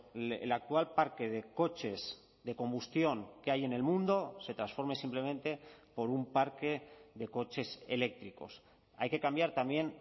el actual parque de coches de combustión que hay en el mundo se transforme simplemente por un parque de coches eléctricos hay que cambiar también